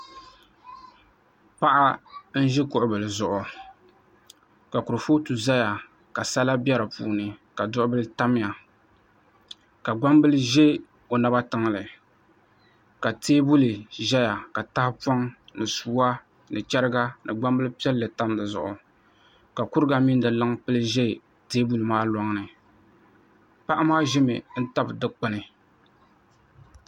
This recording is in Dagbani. Paɣa n ʒi kuɣu bili zuɣu ka kurifooti ʒɛya ka sala bɛ di puuni ka duɣu bili tamya ka gbambili ʒɛ o naba tiŋli ka teebuli ʒɛya ka tahapoŋ ni sua ni chɛriga ni gbambili piɛlli tam di zuɣu ka kuriga mini di luŋ pili ʒɛ teebuli maa loŋni paɣa maa ʒimi n tabi dikpuni